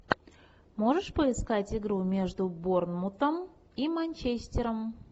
можешь поискать игру между борнмутом и манчестером